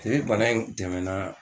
Teri bana in tɛmɛnaa